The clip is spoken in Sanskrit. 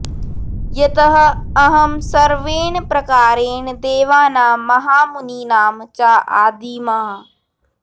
यतः अहं सर्वेण प्रकारेण देवानां महामुनीनां च आदिमः